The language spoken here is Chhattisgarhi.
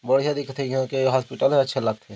बढ़िया दिखत हे यहाँ के हॉस्पिटल ह अच्छे लगथे।